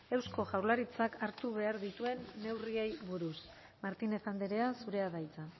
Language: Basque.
eusko jaurlaritzak hartu behar dituen neurriei buruz martínez andrea zurea da hitza